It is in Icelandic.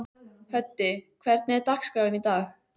Höddi, hvernig er dagskráin í dag?